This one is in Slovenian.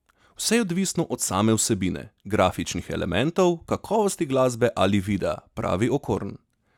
Vse je odvisno od same vsebine, grafičnih elementov, kakovosti glasbe ali videa, pravi Okorn.